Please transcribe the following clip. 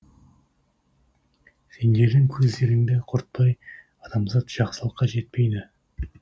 сендердің көздеріңді құртпай адамзат жақсылыққа жетпейді